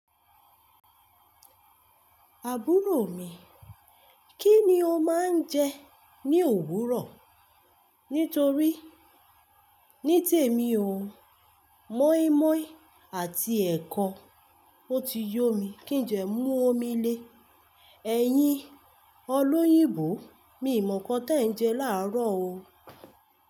Àbúrò mi, kí ni ó máa ń jẹ ní òwúrọ̀? Nítorí ní tèmi o, mọ́ímọ́í àti ẹ̀kọ o ti yó mi kí njẹ́ mú omi le. Ẹ̀yin olóyìnbó mi ò mọ̀ nǹkan tí ẹ̀ ń jẹ láàárọ̀ o.